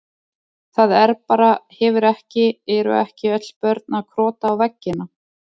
Það er bara, hefur ekki, eru ekki öll börn að krota á veggina?